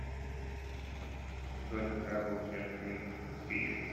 джой когда был снят фильм мстители